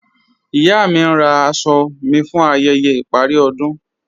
Iya mí ǹ rá àṣọ̀ mí fún ayẹyẹ̀ iparí ọdún.